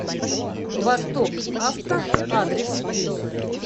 восток авто адрес